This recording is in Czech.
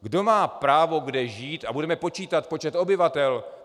Kdo má právo kde žít a budeme počítat počet obyvatel.